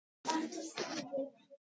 Reyna að komast upp.